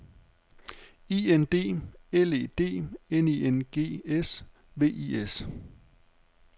I N D L E D N I N G S V I S